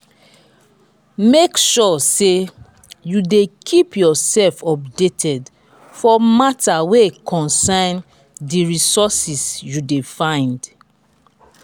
make sure say you de keep yourself updated for matter wey concern di resources you de find